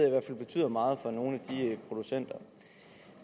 i hvert fald betyder meget for nogle af de producenter